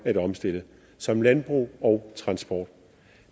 at omstille som landbrug og transport